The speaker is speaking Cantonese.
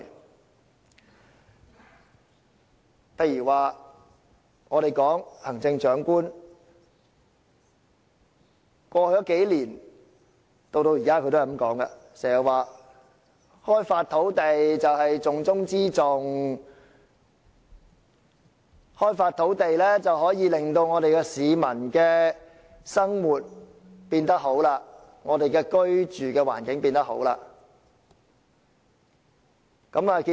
舉例而言，過去數年，行政長官經常說開發土地是重中之重，開發土地可以令市民的生活變得更好，令我們的居住環境變得更好。